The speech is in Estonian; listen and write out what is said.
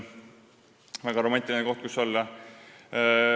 See on väga romantiline koht, kus olla.